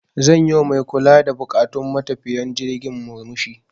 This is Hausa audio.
Zan yi wa mai kula da buƙatun matafiyan jirgin murmushi.